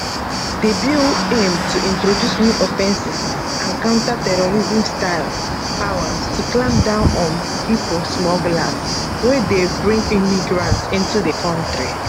di bill aim to introduce new offences and counter terrorismstyle powers to clamp down on pipo smugglers wey dey bring migrants into di kontri